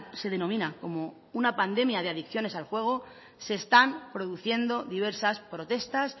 se denomina como una pandemia de adicciones al juego se están produciendo diversas protestas